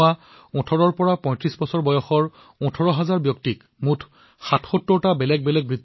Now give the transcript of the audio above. এওঁসকল জম্মুকাশ্মীৰৰ সেইসকল লোক যাৰ পঢ়াশুনা কোনো কাৰণবশতঃ সম্পূৰ্ণ নহল অথবা আধাতেই পঢ়া সামৰিবলগীয়া হল